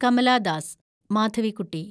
Kamala Das (Madhavikutty)